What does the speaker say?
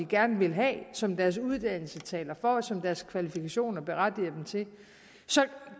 gerne vil have som deres uddannelse taler for og som deres kvalifikationer berettiger dem til